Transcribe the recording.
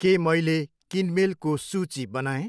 के मैले किनमेलको सूची बनाएँ?